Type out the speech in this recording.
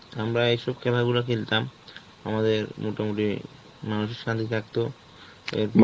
আমরা এইসব খেলাগুলো গুলা খেলতাম, আমাদের মোটামুটি মানসিক শান্তি থাকতো, এর